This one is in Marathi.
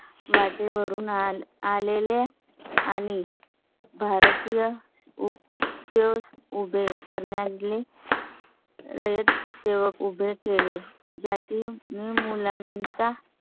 माटे वरून आलेल्या आणि भारतीय state उभे करण्यात आले. रयत सेवक उभे केले ज्या तील मुलांचा.